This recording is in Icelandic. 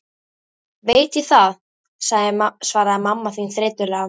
Veit ég það, svaraði mamma þín þreytulega.